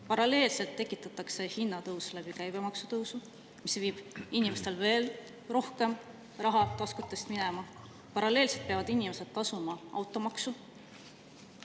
Paralleelselt tekitatakse hinnatõus läbi käibemaksu tõusu, mis viib inimestel taskutest veel rohkem raha minema, paralleelselt peavad inimesed tasuma automaksu.